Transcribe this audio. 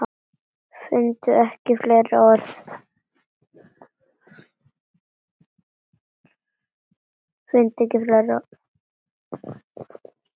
Fundum ekki fleiri orð.